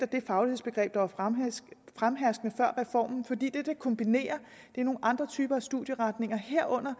det faglighedsbegreb der var fremherskende før reformen fordi det der kombinerer er nogle andre typer studieretninger herunder